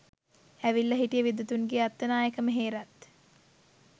ඇවිල්ලා හිටිය විද්වතුන්ගේ අත්තනායක ම හේරත්